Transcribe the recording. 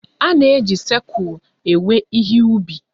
A na-eji sikụl ewe ihe ubi.